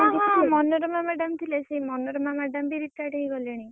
ହଁ ହଁ ମନୋରମା madam ଥିଲେ ସେ ମନୋରମା madam ବି retired ହେଇ ଗଲେଣି।